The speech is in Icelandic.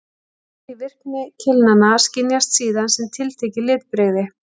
Hlutfall í virkni keilnanna skynjast síðan sem tiltekið litbrigði.